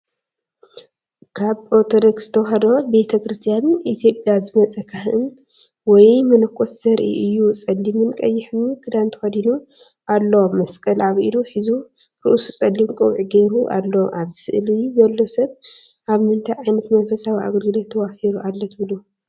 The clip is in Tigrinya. ካብ ኦርቶዶክስ ተዋህዶ ቤተ ክርስቲያን ኢትዮጵያ ዝመጸ ካህን ወይ መነኮስ ዘርኢ እዩ። ጸሊምን ቀይሕን ክዳን ተከዲኑ ኣሎ። መስቀል ኣብ ኢዱ ሒዙ ርእሱ ጸሊም ቆቢዕ ገይሩ ኣሎ። ኣብዚ ስእሊ ዘሎ ሰብ ኣብ ምንታይ ዓይነት መንፈሳዊ ኣገልግሎት ተዋፊሩ ኣሎ ትብሉ?